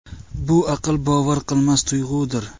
Bu aql bovar qilmas tuyg‘udir!